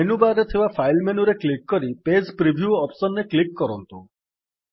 menu bar ରେ ଥିବା file ମେନୁରେ କ୍ଲିକ୍ କରି ପେଜ୍ ପ୍ରିଭ୍ୟୁ ଅପ୍ସନ୍ ରେ କ୍ଲିକ୍ କରନ୍ତୁ